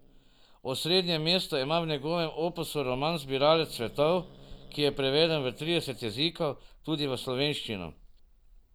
Osrednje mesto ima v njegovem opusu roman Zbiralec svetov, ki je preveden v trideset jezikov, tudi v slovenščino.